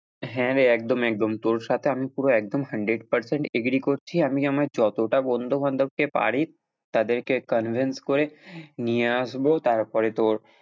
হ্যাঁ, রে একদম একদম তোর সাথে আমি পুরো একদম hundred percent agree করছি আমি আমার যতটা বন্ধু বান্ধবকে পারি তাদেরকে convince করে নিয়ে আসবো তারপরে তোর,